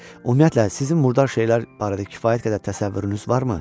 Ümumiyyətlə, sizin murdar şeylər barədə kifayət qədər təsəvvürünüz varmı?